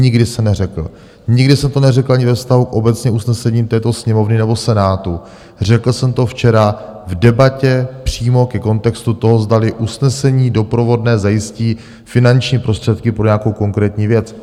Nikdy jsem neřekl, nikdy jsem to neřekl ani ve vztahu obecně k usnesením této Sněmovny nebo Senátu, řekl jsem to včera v debatě přímo ke kontextu toho, zdali usnesení doprovodné zajistí finanční prostředky pro nějakou konkrétní věc.